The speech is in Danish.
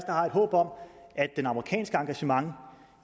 har et håb om at det amerikanske engagement